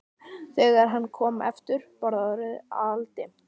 Þegar hann kom aftur var orðið aldimmt.